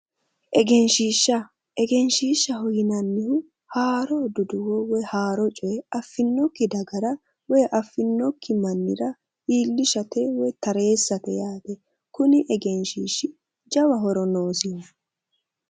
egenshshiishsha, egenshshiishshaho yinannihu haaro duduwo woyi haaro coyee affinnokki dagara woyi affinokki mannira iillishate woyi tareessate yaate. kuni egenshshiishshi jawa horo noosi.